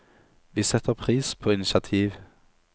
Vi setter pris på initiativ!